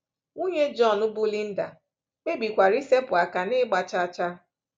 Nwunye John, bụ́ Linda, kpebikwara isepụ aka n’ịgba chaa chaa.